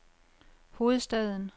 hovedstaden